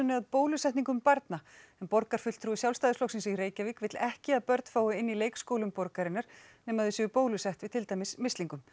að bólusetningum barna en borgarfulltrúi Sjálfstæðisflokksins í Reykjavík vill ekki að börn fái inni í leikskólum borgarinnar nema þau séu bólusett við til dæmis mislingum